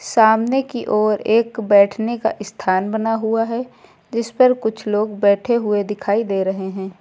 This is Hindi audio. सामने की ओर एक बैठने का स्थान बना हुआ है जिस पर कुछ लोग बैठे हुए दिखाई दे रहे हैं।